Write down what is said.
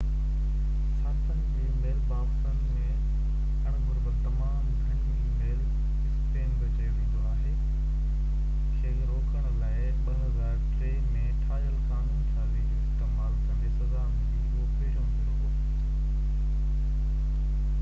صارفن جي ميل باڪسن ۾ اڻ گهربل تمام گهڻيون اي ميل اسپيم بہ چيو ويندو آهي کي روڪڻ لاءِ 2003 ۾ ٺاهيل قانون سازي جو استعمال ڪندي سزا ملي اهو پهريون ڀيرو هو